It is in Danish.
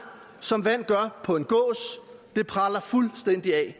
som vand gør på en gås det preller fuldstændig af